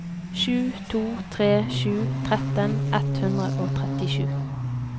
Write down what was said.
sju to tre sju tretten ett hundre og trettisju